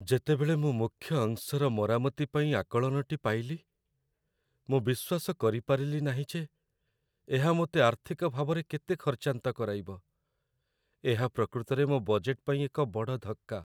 ଯେତେବେଳେ ମୁଁ ମୁଖ୍ୟ ଅଂଶର ମରାମତି ପାଇଁ ଆକଳନଟି ପାଇଲି, ମୁଁ ବିଶ୍ୱାସ କରିପାରିଲି ନାହିଁ ଯେ ଏହା ମୋତେ ଆର୍ଥିକ ଭାବରେ କେତେ ଖର୍ଚ୍ଚାନ୍ତ କରାଇବ। ଏହା ପ୍ରକୃତରେ ମୋ ବଜେଟ୍ ପାଇଁ ଏକ ବଡ଼ ଧକ୍କା।